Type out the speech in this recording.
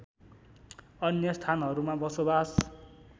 अन्य स्थानहरूमा बसोवास